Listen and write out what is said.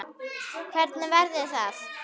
Hvernig væri það?